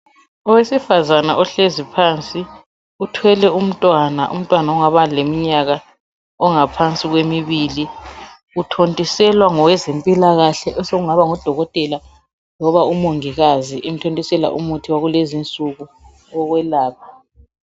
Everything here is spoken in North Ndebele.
Owesifazana ohlezi phansi. Uthwele umntwana, umntwana ongaba leminyaka engaphansi kwemibili. Uthontiselwa ngowezempilakahle, osengaba ngudokotela, loba umongikazi. Umthontisela umuthi wakulezi insuku, owekwelapha.